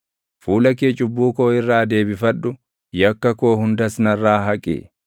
Fuula kee cubbuu koo irraa deebifadhu; yakka koo hundas narraa haqi.